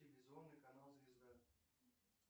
телевизионный канал звезда